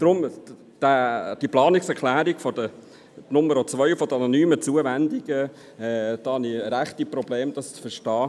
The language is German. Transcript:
Deshalb habe ich ziemliche Probleme damit, die Planungserklärung 2 betreffend die anonymen Zuwendungen zu verstehen.